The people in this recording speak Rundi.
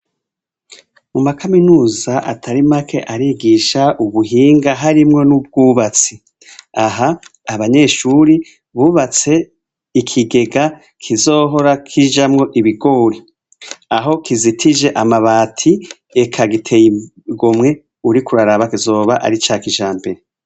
Mu makaminuza atari make arigisha ubuhinga harimwo n' ubwubatsi aha abanyeshure bubatse ikigega kizohora kijamwo ibigori aho kizitije amabati eka giteye igomwe uriko uraraba kizoba ica kijambere.